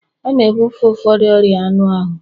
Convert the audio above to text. A na-ebufe ụfọdụ ọrịa anụ ahụ